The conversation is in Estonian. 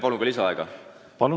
Palun lisaaega!